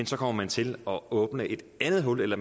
så kommer til at åbne et andet hul eller